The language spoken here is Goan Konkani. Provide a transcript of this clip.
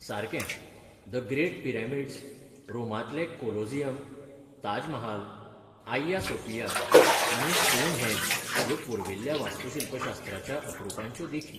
सारकें! द ग्रेट पिरामिड्स, रोमांतलें Colosseum, Taj Mahal, Hagia Sophia आनी स्टोनहेंज ह्यो पुर्विल्ल्या वास्तुशिल्पशास्त्राच्या अपरुपांच्यो देखी.